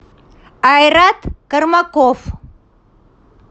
айрат кормаков